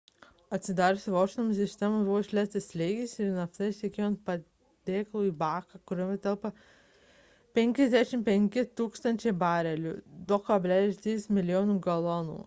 atsidarius vožtuvams iš sistemos buvo išleistas slėgis ir nafta ištekėjo ant padėklo į baką kuriame telpa 55 000 barelių 2,3 mln. galonų